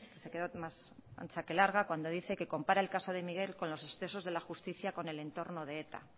se quedó más ancha que larga cuando dice que compara el caso de miguel con los excesos de la justicia con el entorno de eta